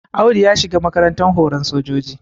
Audu ya shiga makarantar horan sojoji